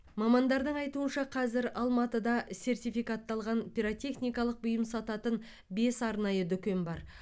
мамандардың айтуынша қазір алматыда сертификатталған пиротехникалық бұйым сататын бес арнайы дүкен бар